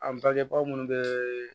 An bangeba munnu bɛ